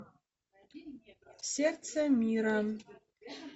сердце мира